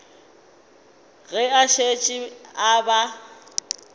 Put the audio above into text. ge a šetše a ba